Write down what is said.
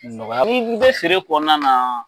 Nɔgɔya, n'i bɛ feere kɔnɔna na,